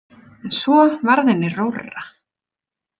En svo varð henni rórra.